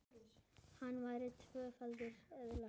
Hann fær tvöfalt eðli.